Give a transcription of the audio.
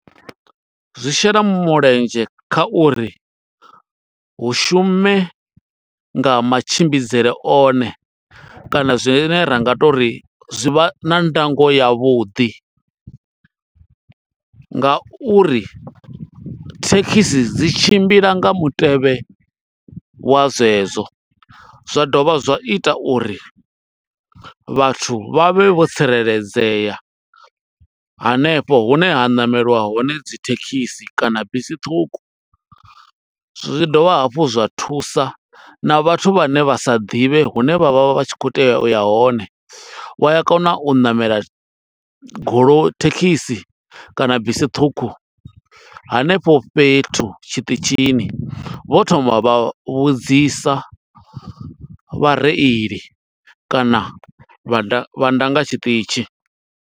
Zwi shela mulenzhe kha uri, hu shume nga matshimbidzele one kana zwine ra nga to ri zwi vha na ndango ya vhuḓi, nga uri thekhisi dzi tshimbila nga mutevhe wa zwezwo. Zwa dovha zwa ita uri vhathu vha vhe vho tsireledzea hanefho hune ha ṋameliwa hone dzi thekhisi, kana bisi ṱhukhu. Zwi dovha hafhu zwa thusa na vhathu vhane vha sa ḓivhe hune vha vha vha tshi khou tea uya hone. Wa a kona u ṋamela goloi, thekisi kana bisi ṱhukhu hanefho fhethu tshiṱitshini, vho thoma vha vhudzisa vhareili kana vha vha ndanga tshiṱitshi.